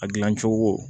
A gilan cogo